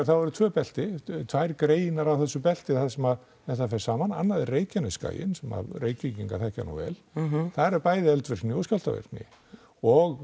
eru tvö belti tvær greinar af þessu belti þar sem það fer saman annað er Reykjanesskaginn sem að Reykvíkingar þekkja nú vel þar er bæði eldvirkni og skjálftavirkni og